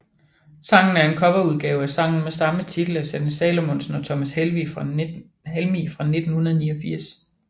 Sangen er en coverudgave af sangen med samme titel af Sanne Salomonsen og Thomas Helmig fra 1989